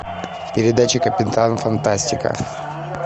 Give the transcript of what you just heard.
передача капитан фантастика